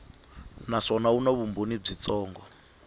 naswona wu na vumbhoni byitsongo